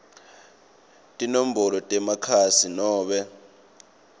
tinombolo temakhasi nobe